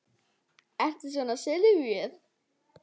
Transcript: Ertu svona syfjuð?